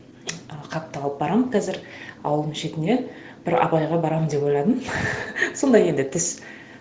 і хатты алып барамын қазір ауылдың шетіне бір апайға барамын деп ойладым сондай енді түс